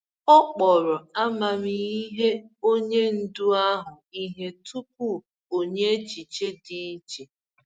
Ọ kpọrọ amamihe onye ndu ahụ ihe tupu o nye echiche dị iche.